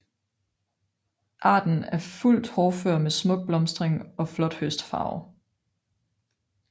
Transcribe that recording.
Arten er fuldt hårdfør med smuk blomstring og flot høstfarve